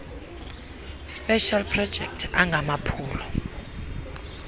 specials projects angamaphulo